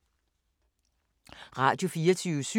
Radio24syv